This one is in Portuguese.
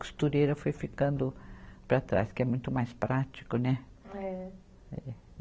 Costureira foi ficando para trás, que é muito mais prático, né? É. É.